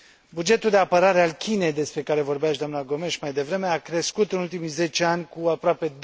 Bugetul de apărare al Chinei, despre care vorbea și doamna Gomes mai devreme, a crescut în ultimii 10 ani cu aproape